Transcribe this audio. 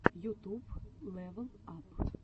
ютуб лэвел ап